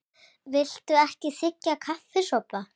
Viltu ekki þiggja kaffisopa?